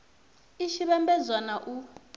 i tshi vhambedzwa na u